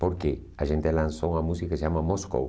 Porque a gente lançou uma música que se chama Moscou.